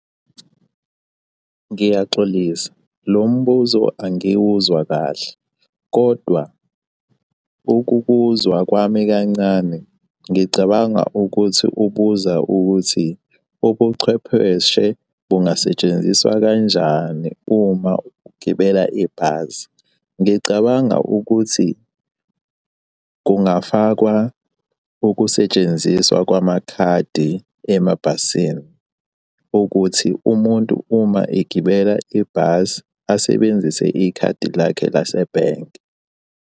Ngiyaxolisa lo mbuzo angiwuzwa kahle, kodwa ukukuzwa kwami kancane ngicabanga ukuthi ubuza ukuthi, ubuchwepheshe bungasetshenziswa kanjani uma ugibela ibhasi? Ngicabanga ukuthi kungafakwa ukusetshenziswa kwamakhadi emabhasini ukuthi umuntu uma egibele ibhasi asebenzise ikhadi lakhe lasebhenki.